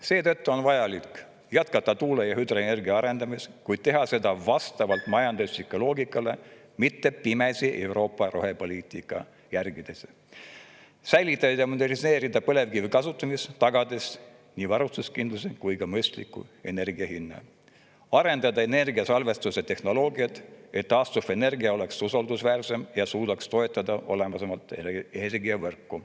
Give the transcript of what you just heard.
Seetõttu on vajalik jätkata tuule‑ ja hüdroenergia arendamist, kuid teha seda vastavalt majandusloogikale, mitte pimesi Euroopa rohepoliitikat järgides; säilitada ja moderniseerida põlevkivi kasutamist, tagades nii varustuskindlus kui ka mõistlik energia hind; ning arendada energiasalvestustehnoloogiat, et taastuvenergia oleks usaldusväärsem ja suudaks toetada olemasolevat energiavõrku.